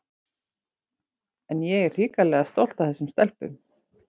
En ég er hrikalega stolt af þessum stelpum.